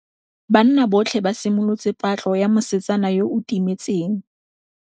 Banna botlhê ba simolotse patlô ya mosetsana yo o timetseng.